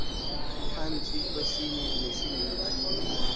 phantsi kwesinye nesininzi